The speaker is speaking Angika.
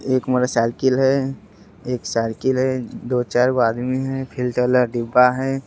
एक मोटरसाइकिल है | एक साइकिल है | दो चार गो आदमी है | फ़िल्टर वाला डिब्बा है ।